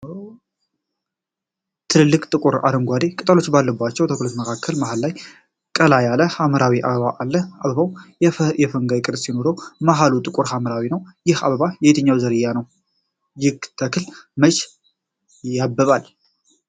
ትልልቅ፣ ጥቁር አረንጓዴ ቅጠሎች ባሉባቸው ተክሎች መካከል መሃል ላይ ቀላ ያለ ሐምራዊ አበባ አለ። አበባው የፈንጋይ ቅርጽ ሲኖረው፣ መሃሉ ጥቁር ሐምራዊ ነው። ይህ አበባ የትኛው ዝርያ ነው? ይህ ተክል መቼ ያብባል?